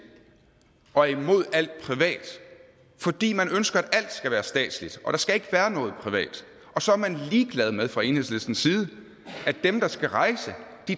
og er imod alt privat fordi man ønsker at alt skal være statsligt og der skal være noget privat og så er man ligeglad med fra enhedslistens side at dem der skal rejse